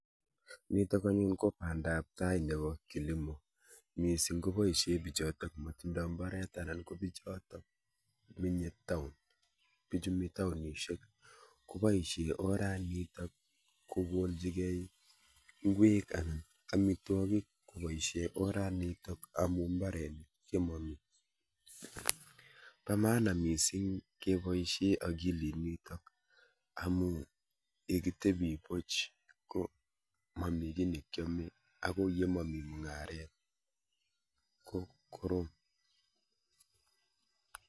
Niitok anyun kobandaptai neoo ing' kilimo. Mising' koboisie biichootok matindoi mbaret anan ko bichootok menye town. Biikchu mi townisiek koboisie orat niitok kogoolchigei ngwek anan amitwogik koboisie orat niitok amu mbarenik chemami. Pa maana miising' keboisie akilit niitok amu yekitebi puch ko mami ki nekiame ako ye mami mung'aret ko korom